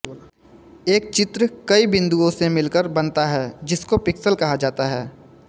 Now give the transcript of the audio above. एक चित्र कई बिंदुओं से मिलकर बनता है जिनको पिक्सल कहा जाता है